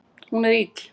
Hún er ill